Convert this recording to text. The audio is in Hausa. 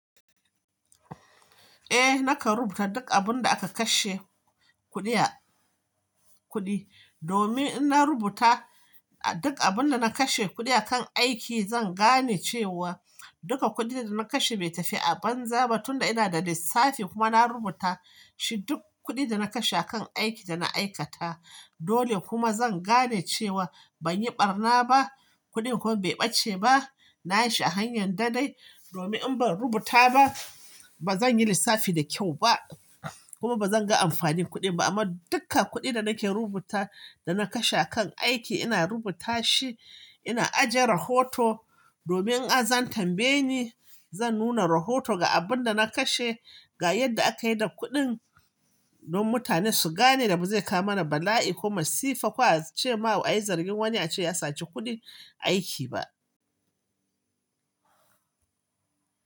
Eh, nakan rubuta duk abin da aka kashe kuɗi, a kuɗi. Domin in na rubuta duk abin da na kashe kuɗi akan aiki, zan gane cewa duka kuɗin da na kashe bai tafi a banza ba tun da ina da lissafi kuma na rubuta shi duk kuɗin da na kashe akan aikin da na aikata. Dole kuma zan gane cewa ban yi ɓarna ba, kuɗin kuma bai ɓace ba. Na yi shi a hanyar da dai. Domin in ban rubuta ba, ba zan yi lissafi da kyau ba, kuma ba zan ga amfanin kuɗin ba. Amma duka kuɗin da nake rubuta da na kashe akan aiki ina rubuta shi, ina ajiye rahoto. Domin in za a tambaye ni, zan nuna rahoto ga abin da na kashe, ga yadda aka yi da kuɗin, don mutane su gane da ba zai kawo mana bala'i kuma sifa kuwa ce ma wa'i zargin wani ya sace kuɗin aiki ba.